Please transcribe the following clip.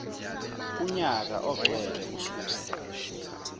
kunyaka ogcwele ususe